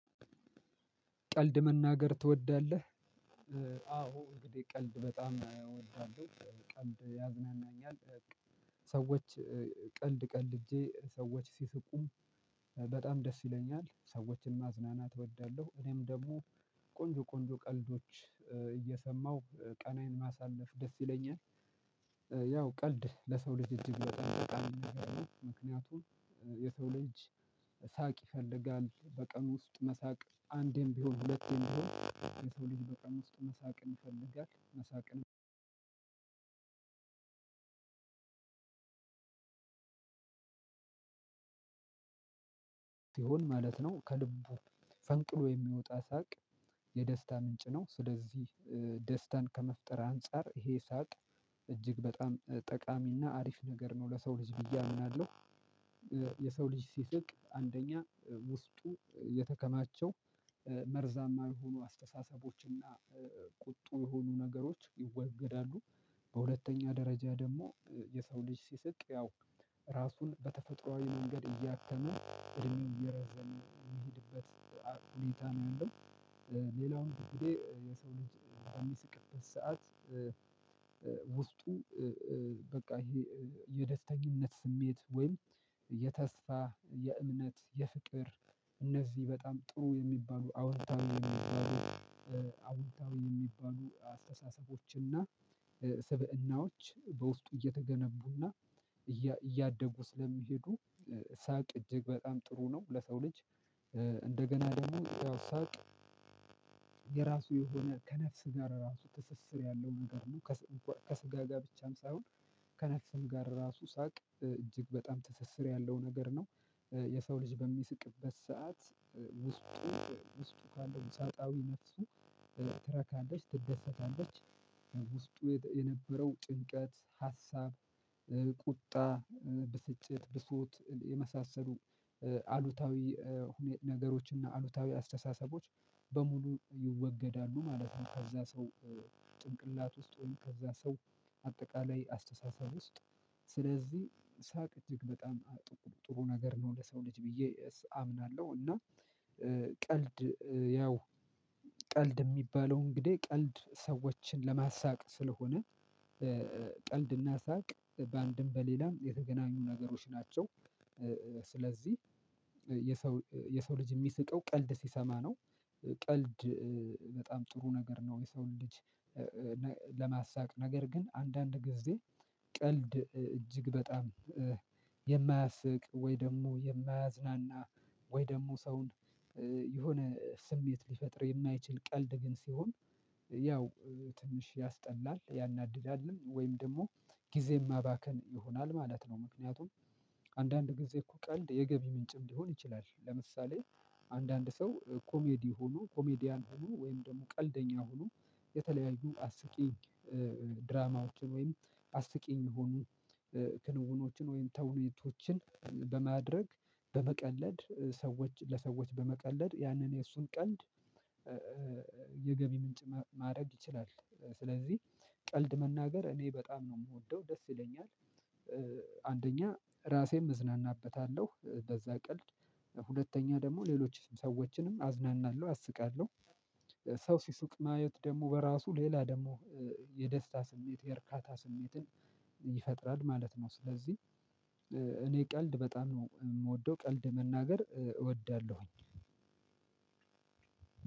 ቀልድ መናገር ትወዳለህ? አዎ እንግዲህ ቀልድ በጣም አወዳለሁ ቀልድ ያዝናኛል። ሰዎች ቀልድ ቀልጄ ሰዎች ሲስቁ በጣም ደስ ይለኛል። ሰዎችን ማዝናናት እወዳለሁ እኔም ደግሞ ቆንጆ ቆንጆ ቀልዶችን እየሰማው ቀኔን ማሳለፍ ደስ ይለኛል። ያው ቀልድ ለሰው ልጅ እጅግ በጣም አስፈላጊ ነገር ነው። ምክንያቱም የሰው ልጅ ሳቅ ይፈልጋል በቀን ውስጥ መሳቅ አንዴም ቢሆን ሁለቴም ቢሆን የሰው ልጅ በቀን ውስጥ መሳቅን ይፈልጋል። መሳቅን ሲሆን ማለት ነው ከልቡ ፈንቅሎ የሚወጣ ሳቅ የደስታ ምንጭ ነው። ስለዚህ ደስታን ከመፍጠር አንፃር ይሄ ሳቅ እጅግ በጣም ጠቃሚና አሪፍ ነገር ነው ለሰው ልጅ ብዬ አምናለሁ። የሰው ልጅ ሲስቅ አንደኛ ውስጡ የተከማቸው መርዛማ የሆኑ አስተሳሰቦች እና ቁጡ የሆኑ ነገሮች ይወገዳሉ። በሁለተኛ ደረጃ ደግሞ የሰው ልጅ ሲሰቅ ያው ራሱን በተፈጥሮአዊ መንገድ እያከመ እድሜውን እየረዘን የሚሄድበት ሁኔታ ነው ያለው። ሌላው እንግዲህ የሰው ልጅ በሚስቅበት ሰዓት። ውስጡ በቃ ይሄ የደስተኝነት ስሜት ወይም የተስፋ የእምነት የፍቅር እነዚህ በጣም ጥሩ የሚባሉ አዎንታዊ የሚባሉ አዎንታዊ የሚባሉ አስተሳሰቦችና ስብእናዎች በውስጡ እየተገነቡና እያደጉ ስለሚሄዱ ሳቅ እጅግ በጣም ጥሩ ነው። ለሰው ልጅ እንደገና ደግሞ ያው ሳቅ የራሱ የሆነ ከነፍስ ጋር ራሱ ትስስር ያለው ነገር ነው። ከስጋ ጋር ብቻም ሳይሆን ከነፍስም ጋር ራሱ ሳቅ እጅግ በጣም ትስስር ያለው ነገር ነው። የሰው ልጅ በሚስቅበት ሰዓት ውስጡ ውስጡ ካለው ውሳጣዊ ነፍሱ ትረካለች ትደሰታለች። ውስጡ የነበረው ጭንቀት ሀሳብ ቁጣ ብስጭት ብሶት የመሳሰሉ አሉታዊ ነገሮች እና አሉታዊ አስተሳሰቦች በሙሉ ይወገዳሉ ማለት ነው። ከዛ ሰው ጭንቅላት ውስጥ ወይም ከዛ ሰው አጠቃላይ አስተሳሰብ ውስጥ ስለዚህ ሳቅ እጅግ በጣም ጥሩ ነገር ነው ለሰው ልጅ ብዬ አምናለሁ። እና ቀልድ ያው ቀልድ የሚባለው እንግዲህ ቀልድ ሰዎችን ለማሳቅ ስለሆነ ቀልድና ሳቅ በአንድም በሌላም የተገናኙ ነገሮች ናቸው። ስለዚህ የሰው የሰው ልጅ የሚስቀው ቀልድ ሲሰማ ነው። ቀልድ በጣም ጥሩ ነገር ነው። የሰውን ልጅ ለማሳቅ ነገር ግን አንዳንድ ጊዜ ቀልድ እጅግ በጣም የማያስቅ ወይ ደግሞ የማያዝናና ወይ ደግሞ ሰውን የሆነ ስሜት ሊፈጥር የማይችል ቀልድ ግን ሲሆን ያው ትንሽ ያስጠላል ያናድዳልም ወይም ደግሞ ጊዜ ማባከን ይሆናል ማለት ነው። ምክንያቱም አንዳንድ ጊዜ እኮ ቀልድ የገቢ ምንጭም ሊሆን ይችላል ለምሳሌ አንዳንድ ሰው ኮሜዲ ሆኖ ኮሜዲያን ሆኖ ወይም ደግሞ ቀልደኛ ሆኖ። የተለያዩ አስቂኝ ድራማዎችን ወይም አስቂኝ የሆኑ ክንውኖችን ወይም ተውኔቶችን በማድረግ በመቀለድ ሰዎች ለሰዎች በመቀለድ ያንን የእሱን ቀልድ የገቢ ምንጭ ማድረግ ይችላል። ስለዚህ ቀልድ መናገር እኔ በጣም ነው የምወደው ደስ ይለኛል። አንደኛ ራሴም እዝናናበታለሁ በዛ ቀልድ ሁለተኛ ደግሞ ሌሎችም ሰዎችንም አዝናናለሁ አስቃለሁ። ሰው ሲስቅ ማየት ደግሞ በራሱ ሌላ ደግሞ የደስታ ስሜት የእርካታ ስሜትን ይፈጥራል ማለት ነው። ስለዚህ እኔ ቀልድ በጣም ነው የምወደው ቀልድ መናገር እወዳለሁኝ።